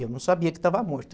Eu não sabia que estava morto.